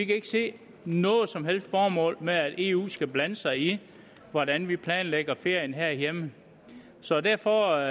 kan ikke se noget som helst formål med at eu skal blande sig i hvordan vi planlægger ferien herhjemme så derfor